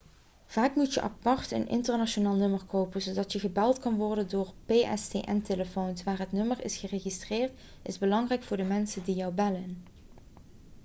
vaak moet je apart een internationaal nummer kopen zodat je gebeld kunt worden door pstn-telefoons waar het nummer is geregistreerd is belangrijk voor de mensen die jou bellen